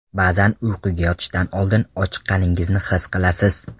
Ba’zan uyquga yotishdan oldin ochiqqaningizni his qilasiz.